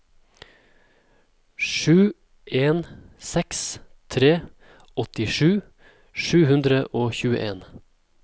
sju en seks tre åttisju sju hundre og tjueen